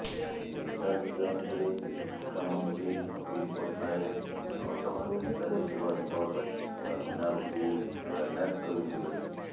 ନେତାଜୀ ଜୟନ୍ତୀରେ ମୁଖ୍ୟମନ୍ତ୍ରୀ ନବୀନ ପଟ୍ଟନାୟକ କଟକ ନେତାଜୀ ସୁଭାଷ ବସ୍ ଟର୍ମିନାଲକୁ ଶିଳାନ୍ୟାସ କରିଥିଲେ